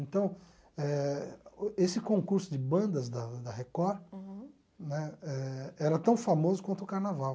Então eh, esse concurso de bandas da da Record né eh era tão famoso quanto o Carnaval.